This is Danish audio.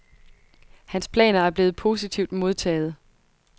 Hans planer er blevet positivt modtaget.